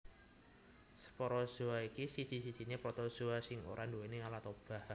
Sporozoa iki siji sijiné Protozoa sing ora nduwèni alat obah